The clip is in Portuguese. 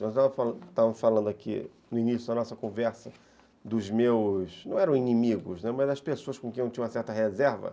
Nós estávamos falando aqui no início da nossa conversa dos meus, não eram inimigos, né, mas as pessoas com quem eu tinha uma certa reserva.